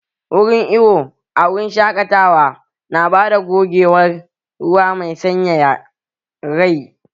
Wurin iwo a wurin shaƙatawa na bada gogewar ruwa mai sanyaya rai